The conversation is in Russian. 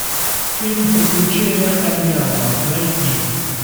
фильм приключения ам няма найти